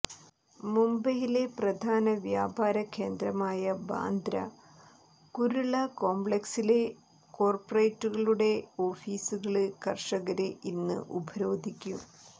മുംബൈയിലെ പ്രധാന വ്യാപാര കേന്ദ്രമായ ബാന്ദ്ര കുര്ള കോംപ്ളക്സിലെ കോര്പറേറ്റുകളുടെ ഓഫീസുകള് കര്ഷകര് ഇന്ന് ഉപരോധിക്കും